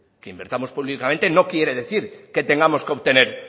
que invirtamos públicamente no quiere decir que tengamos que obtener